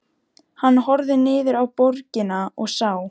Hann horfði niður á borgina og sá